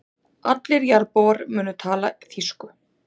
Allir jarðarbúar munu tala þýsku.